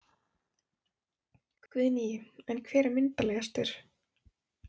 Guðný: En hver er myndarlegastur?